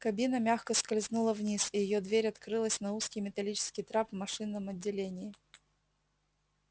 кабина мягко скользнула вниз и её дверь открылась на узкий металлический трап в машинном отделении